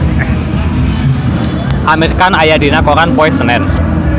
Amir Khan aya dina koran poe Senen